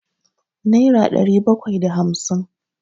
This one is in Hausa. naira ɗari bakwai da hamsin